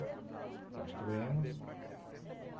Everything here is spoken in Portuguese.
Construímos.